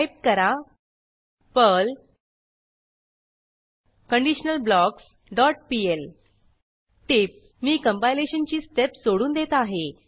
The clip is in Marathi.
टाईप करा पर्ल कंडिशनलब्लॉक्स डॉट पीएल टीप मी कंपायलेशनची स्टेप सोडून देत आहे